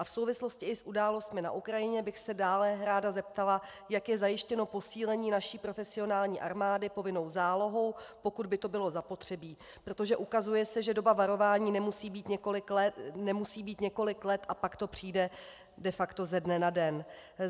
A v souvislosti i s událostmi na Ukrajině bych se dále ráda zeptala, jak je zajištěno posílení naší profesionální armády povinnou zálohou, pokud by to bylo zapotřebí, protože se ukazuje, že doba varování nemusí být několik let, a pak to přijde de facto ze dne na den.